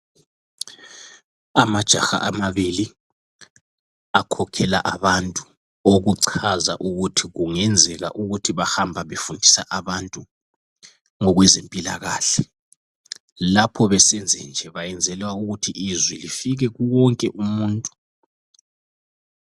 Amajaha amabili akhokhela abantu okuchaza ukuthi kungenzeka ukuthi bahamba befundisa abantu ngokwezempilakahle lapho besenzenje bayenzela ukuthi izwi lifike kuwo wonke umuntu.